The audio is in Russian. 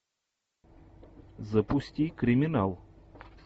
запусти криминал